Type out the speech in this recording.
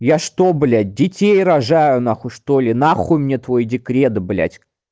я что блядь детей рожаю нахуй что-ли нахуй мне твой декрет блядь